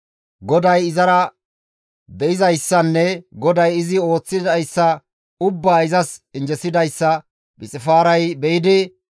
GODAYKKA izara de7izayssanne GODAY izi ooththidayssa ubbaa izas injjesidayssa Phixifaaray be7idi,